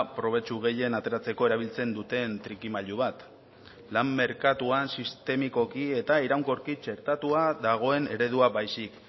probetxu gehien ateratzeko erabiltzen duten trikimailu bat lan merkatuan sistemikoki eta iraunkorki txertatua dagoen eredua baizik